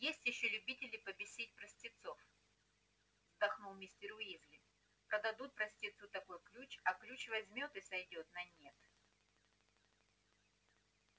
есть ещё любители побесить простецов вздохнул мистер уизли продадут простецу такой ключ а ключ возьмёт и сойдёт на нет